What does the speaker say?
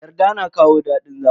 Yarda na kawo dadin zama.